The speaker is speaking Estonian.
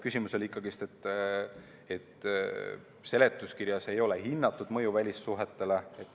Küsimus oli ikkagi, et seletuskirjas ei ole hinnatud mõju välissuhetele.